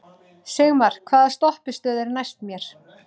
Sigmar, hvaða stoppistöð er næst mér?